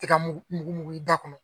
Tiga mugu da kɔnɔ